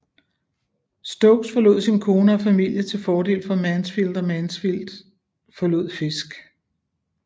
Stokes forlod sin kone og familie til fordel for Mansfield og Mansfield forlod Fisk